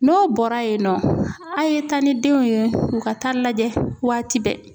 N'o bɔra yen nɔ a' ye taa ni denw ye u ka taa lajɛ waati bɛɛ.